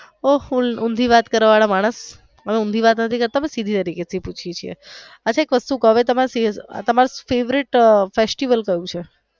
ઓહો ઉંધી વાત કરવા વાળા માણસ અમે ઊંધી વાત નોતા કરતા અમે સીધી તરીકે થી પુછિયે છીએ અચ્છા એક વસ્તુ કવ તમારું favourite festival ક્યુ છે.